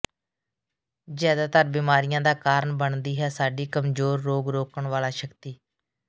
ਜ਼ਿਆਦਾਤਰ ਬਿਮਾਰੀਆਂ ਦਾ ਕਾਰਨ ਬਣਦੀ ਹੈ ਸਾਡੀ ਕਮਜ਼ੋਰ ਰੋਗ ਰੋਕਣ ਵਾਲਾ ਸ਼ਕਤੀ